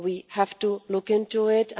We have to look into it.